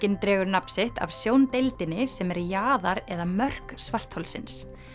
hann dregur nafn sitt sem er jaðar eða mörk svartholsins